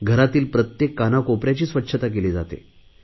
घरातील प्रत्येक कानाकोपऱ्याची स्वच्छता केली जाते